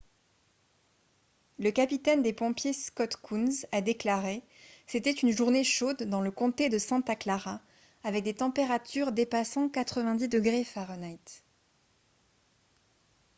le capitaine des pompiers scott kouns a déclaré :« c’était une journée chaude dans le comté de santa clara avec des températures dépassant 90 °f